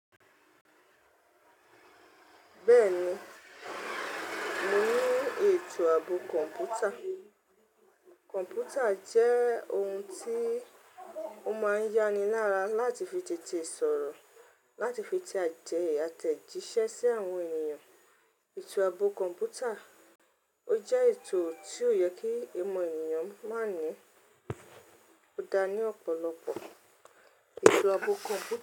Bẹ́ẹ̀ni, mo ní ètò ààbò kọ̀ǹpútà. Kọ̀ǹpútà jẹ́ ohun tí ó máa ń yá ni lára láti fi tètè sọ̀rọ̀, láti fi te àjẹ̀ àtẹ̀jíṣẹ́ sí àwọn ènìyàn. Ètò ààbò kọ̀ǹpútà, ó jẹ́ ètò tí ó yẹ kí ìmọ̀ ènìyàn máa ní ó dá ní ọ̀pọ̀lọpọ̀. Ètò ààbò kọ̀ǹpú.